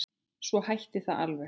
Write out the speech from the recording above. Svo hætti það alveg.